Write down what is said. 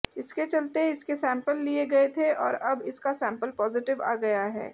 इसके चलते इसके सैंपल लिए गए थे और अब इसका सैंपल पॉजिटिव आ गया है